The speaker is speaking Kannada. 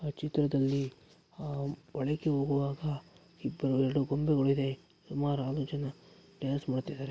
ಆ ಚಿತ್ರದಲ್ಲಿ ಹಮ್ ಒಳಗೆ ಹೋಗುವಾಗ ಇಬ್ಬರು ಎರಡು ಬಂದುಗಳಿವೆ. ಸುಮಾರು ಆರು ಜನ ಡಾನ್ಸ್ ಮಾಡುತ್ತಿದ್ದಾರೆ.